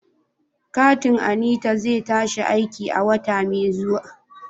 Katin Anita zai tashi aiki a wata mai zuwa.